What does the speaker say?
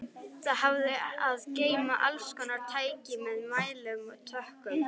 Það hafði að geyma allskonar tæki með mælum og tökkum.